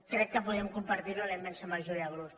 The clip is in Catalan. crec que podríem compartir ho la immensa majoria de grups